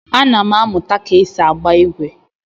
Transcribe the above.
Ana m amụta ka esi agba igwe.